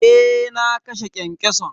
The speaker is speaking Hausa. Eh na kashe kyankyason.